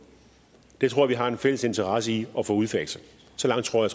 det tror jeg vi har en fælles interesse i at få udfaset så langt tror